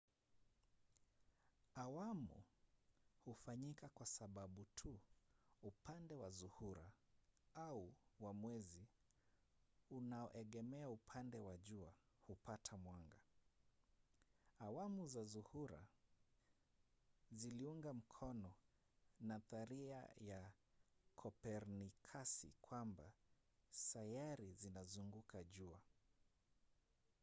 awamu hufanyika kwa sababu tu upande wa zuhura au wa mwezi unaoegemea upande wa jua hupata mwanga. awamu za zuhura ziliunga mkono nadharia ya kopernikasi kwamba sayari zinazunguka jua